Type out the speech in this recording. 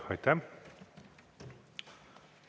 Aitäh!